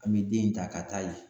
An be den in ta ka taa ye.